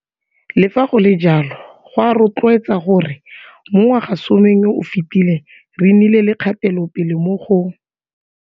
Le fa go le jalo, go a rotloetsa gore mo ngwagasomeng yo o fetileng re nnile le kgatelopele mo go.